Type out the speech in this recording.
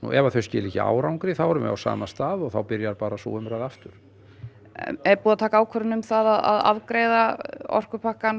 ef þau skila ekki árangri þá erum við á sama stað og þá byrjar bara sú umræða aftur er búið að taka ákvörðun um að afgreiða orkupakkann